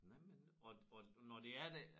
Nej men og og når det er det